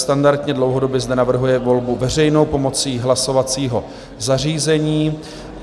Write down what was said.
Standardně dlouhodobě zde navrhuje volbu veřejnou pomocí hlasovacího zařízení.